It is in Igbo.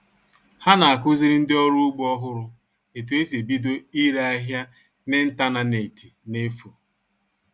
Há nà à-kụziri ndị ọrụ ugbo ọhụrụ etú e si ebido ire áhịá n'ịntañánétị n'efù